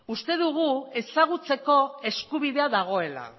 uste dugu ezagutzeko eskubidea dagoela